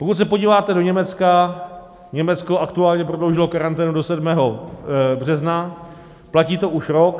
Pokud se podíváte do Německa, Německo aktuálně prodloužilo karanténu do 7. března, platí to už rok.